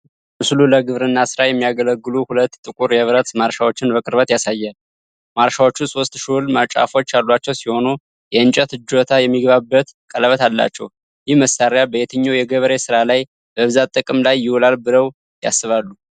ምስሉ ለግብርና ሥራ የሚያገለግሉ ሁለት ጥቁር የብረት ማረሻዎችን በቅርበት ያሳያል። ማረሻዎቹ ሶስት ሹል ጫፎች ያሏቸው ሲሆን የእንጨት እጀታ የሚገባበት ቀለበት አላቸው። ይህ መሳሪያ በየትኛው የገበሬ ሥራ ላይ በብዛት ጥቅም ላይ ይውላል ብለው ያስባሉ?